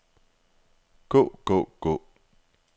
gå gå gå